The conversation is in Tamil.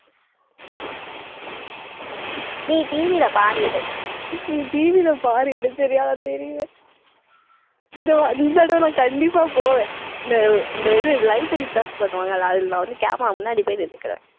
நீ TV ல பாரு இது TV ல பாரு இது சரியா நான் தெரிவேன் இந்த வா~ இந்த தடவை நான் கண்டிப்பா போவேன். இந்த இந்த இது live telecast பண்ணுவாங்கல்ல, அதுல நான் வந்து கேமரா முன்னாடி போய் நின்னுக்குறேன்.